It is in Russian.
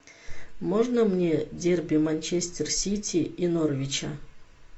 можно мне дерби манчестер сити и норвича